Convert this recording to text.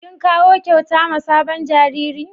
Kin kawo kyauta ma sabon jariri?